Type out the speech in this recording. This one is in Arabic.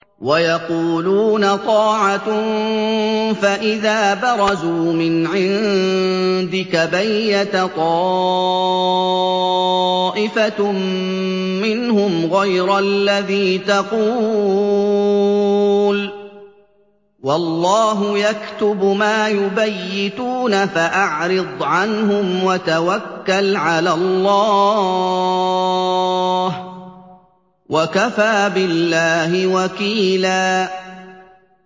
وَيَقُولُونَ طَاعَةٌ فَإِذَا بَرَزُوا مِنْ عِندِكَ بَيَّتَ طَائِفَةٌ مِّنْهُمْ غَيْرَ الَّذِي تَقُولُ ۖ وَاللَّهُ يَكْتُبُ مَا يُبَيِّتُونَ ۖ فَأَعْرِضْ عَنْهُمْ وَتَوَكَّلْ عَلَى اللَّهِ ۚ وَكَفَىٰ بِاللَّهِ وَكِيلًا